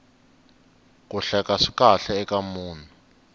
ku hleka swi kahle eka munhu